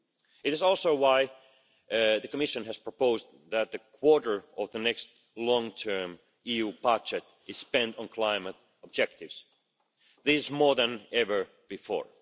It is also why the Commission has proposed that a quarter of the next long-term EU budget should be spent on climate objectives, this more than ever before.